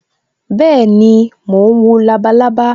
Bẹẹni, mo ń wo labalábá